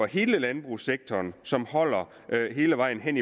hele landbrugssektoren som holder hele vejen hen